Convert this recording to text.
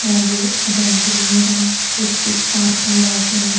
అలాగే giant wheel మీద specific park అని రాసి ఉంది.